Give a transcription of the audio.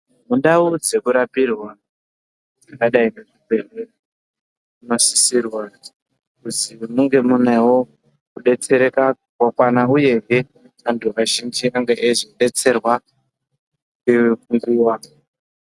Mundau dzekurapirwa dzakadai ngezvibhedhlera munosisirwa kuzi munge munewo kudetsereka kunokwana uyezve antu ange eizodetserwa ngenguwa.